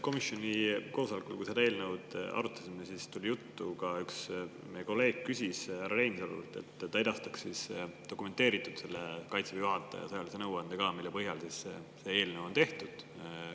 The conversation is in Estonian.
Komisjoni koosolekul, kui me seda eelnõu arutasime, küsis üks meie kolleeg härra Reinsalult, et ta edastaks ka Kaitseväe juhataja dokumenteeritud sõjalise nõuande, mille põhjal see eelnõu on tehtud.